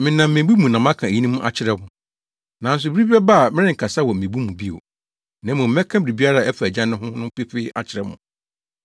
“Menam mmebu mu na maka eyinom akyerɛ mo. Nanso bere bi bɛba a merenkasa wɔ mmebu mu bio, na mmom mɛka biribiara a ɛfa Agya no ho no pefee akyerɛ mo.